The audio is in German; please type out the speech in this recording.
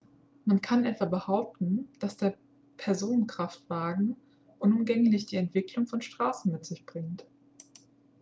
man kann etwa behaupten dass der personenkraftwagen unumgänglich die entwicklung von straßen mit sich bringt